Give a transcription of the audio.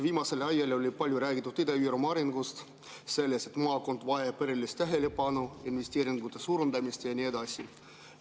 Viimasel ajal on palju räägitud Ida-Virumaa arengust, sellest, et maakond vajab erilist tähelepanu, investeeringute suurendamist ja nii edasi.